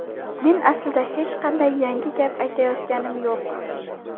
Men aslida hech qanday yangi gap aytayotganim yo‘q.